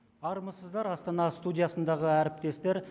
армысыздар астана студиясындағы әріптестер